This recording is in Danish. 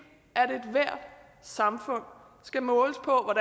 at ethvert samfund skal måles på